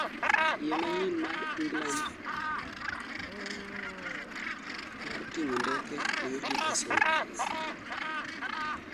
Yie manyien mar England mar ting'o ndeke oyud gi kasro